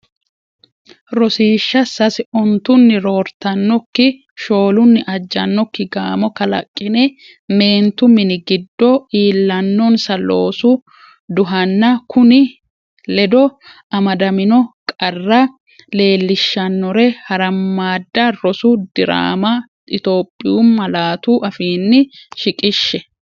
Rosiishsha Sase Ontunni roortannokki, shoolunni ajjannoki gaamo kalaqqine meentu mini giddo iillannonsa loosu duhanna kunni ledo amadamino qarra leel- lishshannore harammadda rosu diraamma Itophiyu malaatu afiinni shi- qishshe.